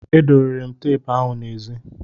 E dobere m teepu ahụ n'ezi.